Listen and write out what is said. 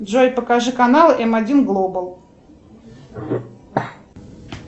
джой покажи канал м один глобал